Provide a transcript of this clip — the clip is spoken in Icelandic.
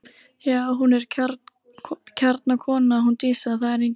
Já, hún er kjarnakona hún Dísa, það er engin lygi.